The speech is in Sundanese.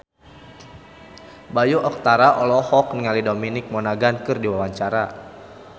Bayu Octara olohok ningali Dominic Monaghan keur diwawancara